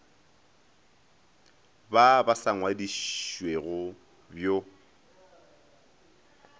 ba ba sa ngwadišwego bj